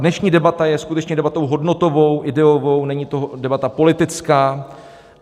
Dnešní debata je skutečně debatou hodnotovou, ideovou, není to debata politická.